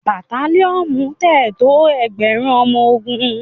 batalionu lẹ tó ẹgbẹrun ọmọ ògún.